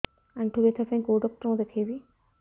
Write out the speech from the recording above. ଆଣ୍ଠୁ ବ୍ୟଥା ପାଇଁ କୋଉ ଡକ୍ଟର ଙ୍କୁ ଦେଖେଇବି